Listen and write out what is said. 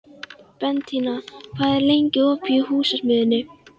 Bentína, hvað er lengi opið í Húsasmiðjunni?